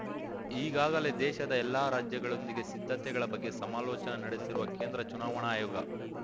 ಈಗಾಗಲೇ ದೇಶದ ಎಲ್ಲಾ ರಾಜ್ಯಗಳೊಂದಿಗೆ ಸಿದ್ಧತೆಗಳ ಬಗ್ಗೆ ಸಮಾಲೋಚನೆ ನಡೆಸಿರುವ ಕೇಂದ್ರ ಚುನಾವಣಾ ಆಯೋಗ